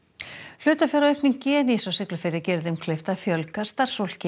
hlutafjáraukning Genís á Siglufirði gerir þeim kleift að fjölga starfsfólki